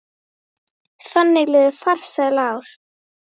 Þannig liðu farsæl ár.